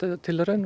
tilraun